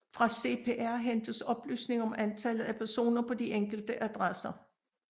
Fra CPR hentes oplysninger om antallet af personer på de enkelte adresser